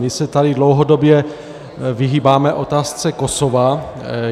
My se tady dlouhodobě vyhýbáme otázce Kosova.